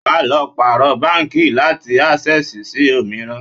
Wà á lọ pàrọ̀ báńkì láti Ásẹ́sìì sí òmíràn.